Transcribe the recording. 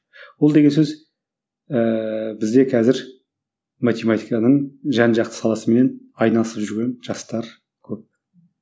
ол деген сөз ііі бізде қазір математиканың жан жақты саласымен айналысып жүрген жастар көп